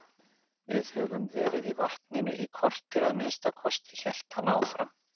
Við höfum verið í vatninu í kortér að minnsta kosti, hélt hann áfram.